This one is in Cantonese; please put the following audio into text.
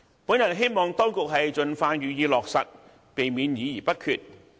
我希望當局盡快予以落實上述措施，避免議而不決。